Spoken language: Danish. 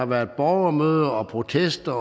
været borgermøder og protester